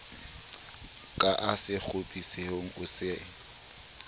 ka a sekgopisehe o se